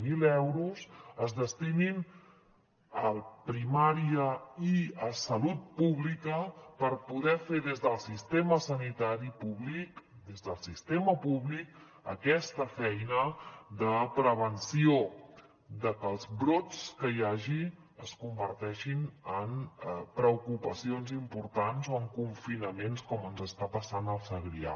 zero euros es destinin a primària i a salut pública per poder fer des del sistema sanitari públic des del sistema públic aquesta feina de prevenció de que els brots que hi hagi es converteixin en preocupacions importants o en confinament com ens està passant al segrià